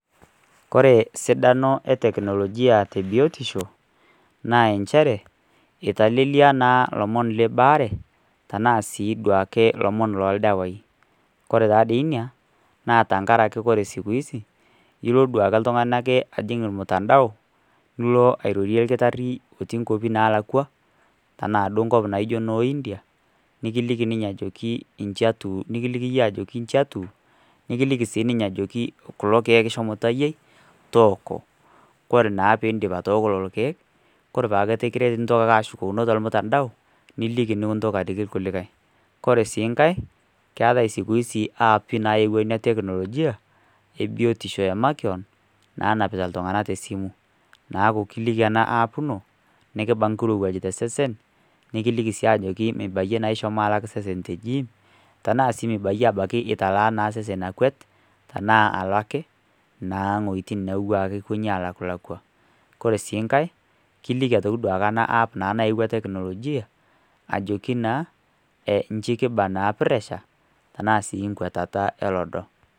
Ore sidano e teknolojia tee biotisho, naa enchere eitelelia naa ilomon le embaare, tanaa sii duo ake ilomon loo ildawai. Kore taa dei inia, naa tenkaraki ore siku hizi ilo duo ake oltungani ajing' olmutandao, nilo airorie olkitari otii inkwapi nalaakwa, tanaa duo enkop naijo noo India, nikiliki ninye ajoki inji atiu, nikiliki iyie ajo inji atiu nekiliki sii ninye ajokit kulo keek shomo tayiai, tooko, kore naa piindip atooko lelo keek, koree paa etu kiret nintoki ake ashukokino tolmutandao, niliki nikintoki aliki ilkulikai. Kore sii nkai , keati siku hizi aapi naepuo ina teknologia, biotisho e makewan, nenapita iltung'ana te esimu, neaku kiiki ena app ino nekimba nkirowaj te osesen, nikiliki naa mibayie ishomo alak sesen te jiim, tanaa sii abaki italaa osesen akwet, anaa alo ake naa iwuetin naa ilo ake nalakwa. Kore sii nkai , kiliki naa atoki naa ena app naa nawa tekinolojia, ajoki naa inji kibaa puresha, tanaa sii nkwetata olodo.